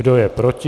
Kdo je proti?